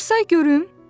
Bir say görüm.